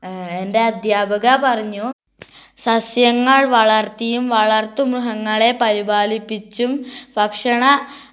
ഹ് എൻറെ അധ്യാപക പറഞ്ഞു സസ്യങ്ങൾ വളർത്തിയും വളർത്തു മൃഹങ്ങളെ പരിപാലിപിച്ചും ഭക്ഷണ ഹ്